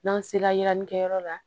N'an sera yɛni kɛyɔrɔ la